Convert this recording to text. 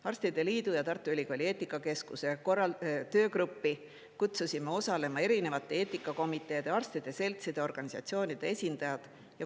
Arstide liidu ja Tartu Ülikooli eetikakeskuse töögruppi kutsusime osalema erinevate eetikakomiteede, arstide seltside ja organisatsioonide esindajad.